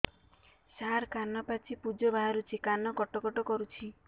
ସାର କାନ ପାଚି ପୂଜ ବାହାରୁଛି କାନ କଟ କଟ କରୁଛି